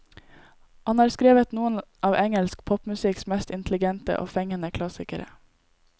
Han har skrevet noen av engelsk popmusikks mest intelligente og fengende klassikere.